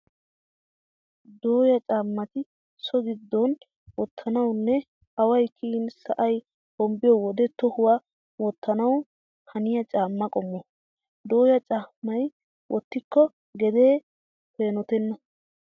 Dooya caammati so giddon wottanawunne away kiyin sa'ay hombbiyo wode tohuwan wottanawu haniya caamma qommo. Dooya caammaa wottikko gedee peenotenna.